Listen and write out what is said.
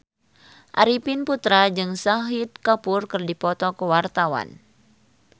Arifin Putra jeung Shahid Kapoor keur dipoto ku wartawan